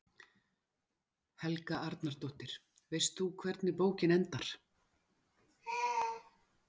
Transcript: Helga Arnardóttir: Veist þú hvernig bókin endar?